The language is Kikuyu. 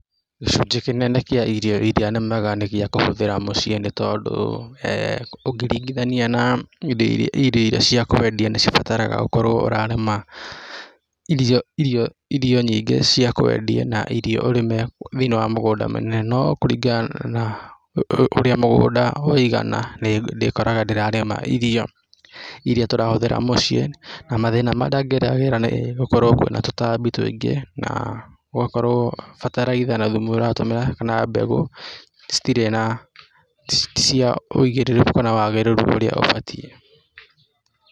Gĩcunjĩ kĩnene kĩa irio ĩrĩa nĩmaga nĩ gĩca kũhũthĩra mũciĩ nĩ tondũ he ũngĩringithania na irio iria cia kwendia nĩ cibataraga ũkorwo ũrarĩma irio nyingĩ cia kwendia na irio ũrĩme thĩiniĩ wa mũgũnda mũnene no kũringana na ũrĩa mũgũnda ũigana nĩ ndĩkoraga ndĩrarĩma irio irĩa tũrahũthĩra mũciĩ na mathĩna marĩa geragĩra nĩ gũkorwo kwĩna tũtambi tũingĩ na gũgakorwo bataraitha na thumu ũratũmĩra kana mbegũ citirĩ na ticia ũĩgĩrĩrĩku kana wagĩrĩru ũrĩa ũbatiĩ.